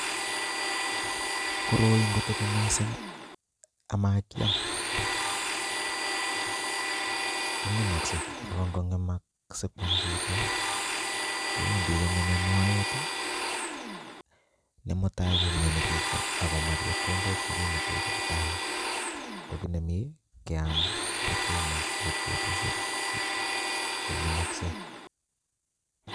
Koroi ngotebi mising amakiam kong'emokse ak ko nge'mak sikwam chito kowendi kong'eme moet nemutai koumioni chito ak komach chepkondok chekimuten sipitali, kokinemi keam kotomo koit betushek cheng'emokse.